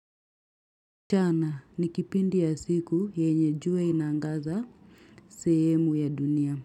Mchana ni kipindi ya siku yenye jua inaangaza sehemu ya dunia.